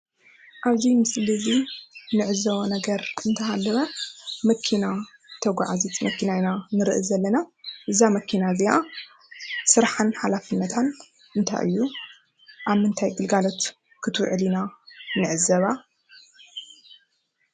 አብ እዚ ምስሊ እንዕዘቦ ነገር እንተሃለወ መኪና ተጓዓዚት መኪና እንሪኢ ዘለና:: እዛ መኪና እዚአ ስራሕን ሓላፍነትን እንታይ እዩ? አብ ምንታይ ግልጋሎት ክትውዕል ንዕዘባ?